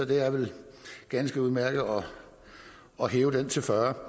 det er vel ganske udmærket at hæve det til fyrre